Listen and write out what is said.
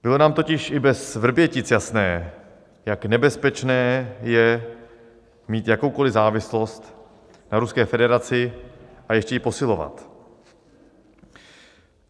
Bylo nám totiž i bez Vrbětic jasné, jak nebezpečné je mít jakoukoli závislost na Ruské federaci a ještě ji posilovat.